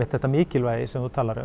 þetta mikilvægi sem þú talar um